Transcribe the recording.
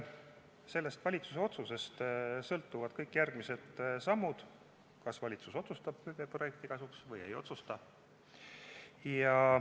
Sellest valitsuse otsusest sõltuvad kõik järgmised sammud, kas valitsus otsustab PPP projekti kasuks või ei otsusta.